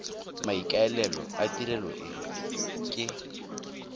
maikaelelo a tirelo e ke